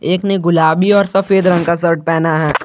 एक ने गुलाबी और सफेद रंग का शर्ट पहना है।